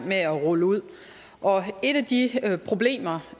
med at rulle ud og et af de problemer